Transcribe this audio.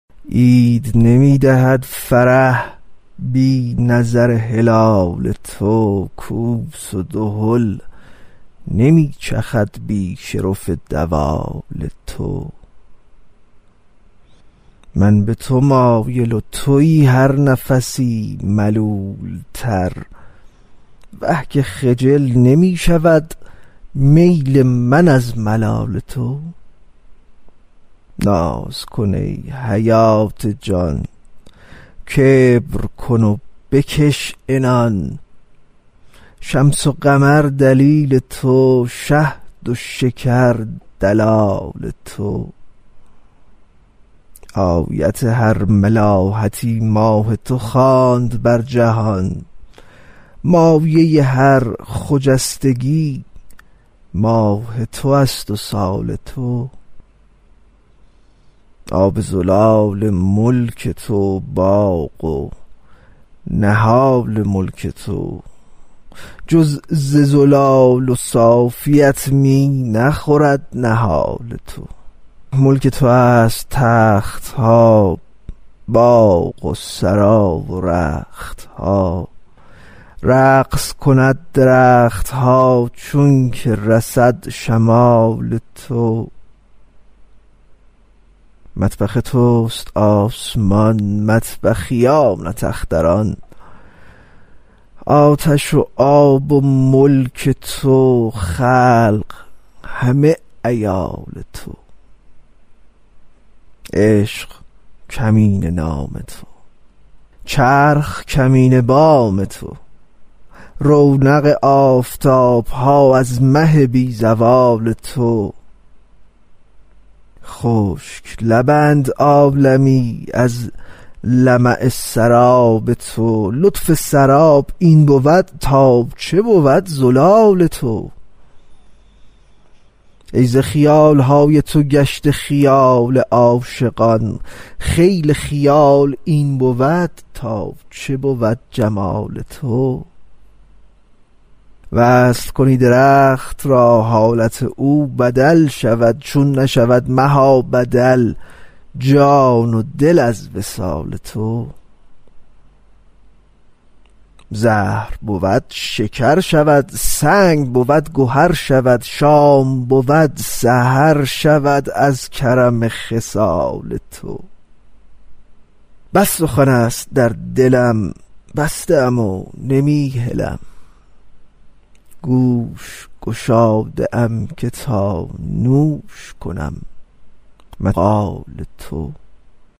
عید نمی دهد فرح بی نظر هلال تو کوس و دهل نمی چخد بی شرف دوال تو من به تو مایل و توی هر نفسی ملولتر وه که خجل نمی شود میل من از ملال تو ناز کن ای حیات جان کبر کن و بکش عنان شمس و قمر دلیل تو شهد و شکر دلال تو آیت هر ملاحتی ماه تو خواند بر جهان مایه هر خجستگی ماه تو است و سال تو آب زلال ملک تو باغ و نهال ملک تو جز ز زلال صافیت می نخورد نهال تو ملک تو است تخت ها باغ و سرا و رخت ها رقص کند درخت ها چونک رسد شمال تو مطبخ توست آسمان مطبخیانت اختران آتش و آب ملک تو خلق همه عیال تو عشق کمینه نام تو چرخ کمینه بام تو رونق آفتاب ها از مه بی زوال تو خشک لبند عالمی از لمع سراب تو لطف سراب این بود تا چه بود زلال تو ای ز خیال های تو گشته خیال عاشقان خیل خیال این بود تا چه بود جمال تو وصل کنی درخت را حالت او بدل شود چون نشود مها بدل جان و دل از وصال تو زهر بود شکر شود سنگ بود گهر شود شام بود سحر شود از کرم خصال تو بس سخن است در دلم بسته ام و نمی هلم گوش گشاده ام که تا نوش کنم مقال تو